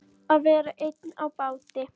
Að vera einn á báti